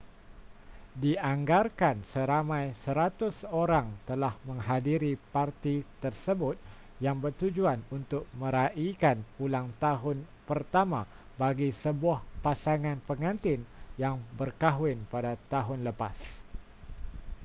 dianggarkan seramai 100 orang telah menghadiri parti tersebut yang bertujuan untuk meraikan ulang tahun pertama bagi sebuah pasangan pengantin yang berkahwin pada tahun lepas